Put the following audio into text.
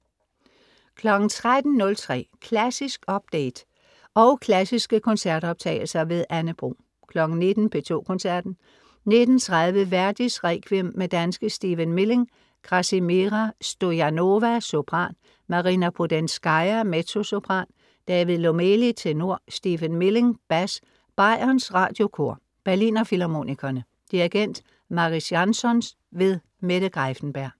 13.03 Klassisk update, og klassiske koncertoptagelser. Anne Bro 19.00 P2 Koncerten. 19.30 Verdis Requiem med danske Stephen Milling. Krassimira Stoyanova, sopran. Marina Prudenskaja, mezzosopran. David Lomeli, tenor. Stephen Milling, bas. Bayerns Radiokor. Berliner Filharmonikerne. Dirigent: Mariss Jansons. Mette Greiffenberg